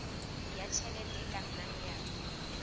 ya tjhelete e kenang ya